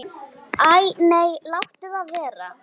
Kelaði ekki við hann.